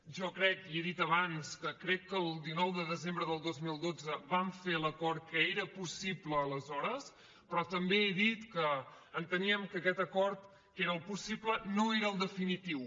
jo crec i ho he dit abans que crec que el dinou de desembre del dos mil dotze vam fer l’acord que era possible aleshores però també he dit que enteníem que aquest acord que era el possible no era el definitiu